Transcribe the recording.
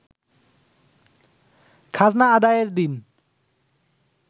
খাজনা আদায়ের দিন